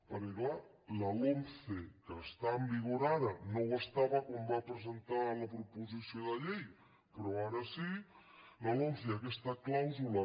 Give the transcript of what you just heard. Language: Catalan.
perquè clar la lomce que està en vigor ara no ho estava quan va presentar la proposició de llei però ara sí aquesta clàusula